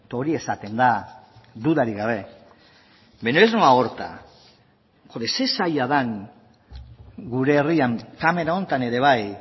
hori esaten da dudarik gabe baina ez noa horretara ze zaila den gure herrian kamara honetan ere bai